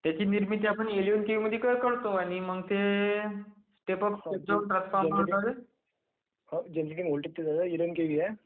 त्यची निर्मिती आपण ....... is not clear